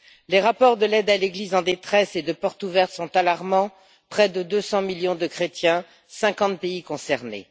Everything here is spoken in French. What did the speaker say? Les rapports de l'Aide à l'Église en détresse et de Portes ouvertes sont alarmants près de 200 millions de chrétiens, 50 pays concernés.